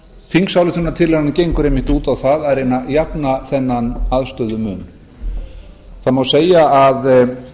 þingsályktunartillagan gengur einmitt út a það að jafna þennan aðstöðumun segja má að